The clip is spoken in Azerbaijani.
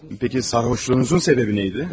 Bəlkə sarhoşluğunuzun səbəbi nə idi?